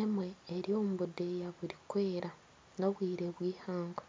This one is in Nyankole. emwe eri omu budeeya burikwera n'obwire bw'eihangwe.